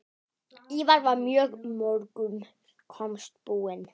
Ívar var mörgum kostum búinn.